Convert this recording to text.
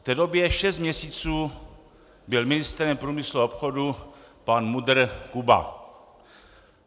V té době šest měsíců byl ministrem průmyslu a obchodu pan MUDr. Kuba.